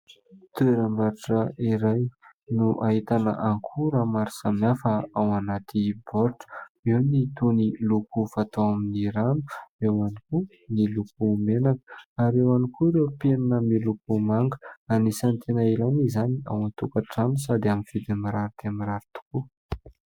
Toeram-barotra iray no ahitana akora maro samihafa ao anaty baoritra : eo ny toy ny loko fatao amin'ny rano, eo ihany koa ny loko menaka ary eo ihany koa ireo penina miloko manga. Anisan'ny tena ilaina izany ao an-tokantrano sady amin'ny vidiny mirary dia mirary tokoa.